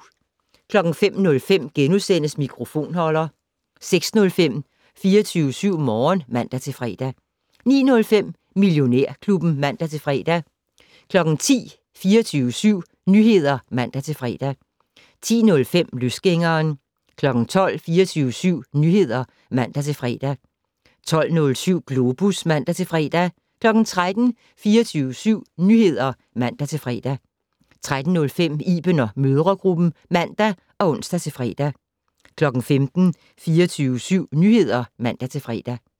05:05: Mikrofonholder * 06:05: 24syv Morgen (man-fre) 09:05: Millionærklubben (man-fre) 10:00: 24syv Nyheder (man-fre) 10:05: Løsgængeren 12:00: 24syv Nyheder (man-fre) 12:07: Globus (man-fre) 13:00: 24syv Nyheder (man-fre) 13:05: Iben & mødregruppen (man og ons-fre) 15:00: 24syv Nyheder (man-fre)